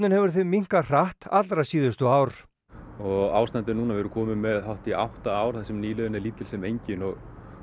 hefur því minnkað hratt allra síðustu ár og ástandið núna við erum komin með hátt í átta ár þar sem nýliðun er lítil sem engin og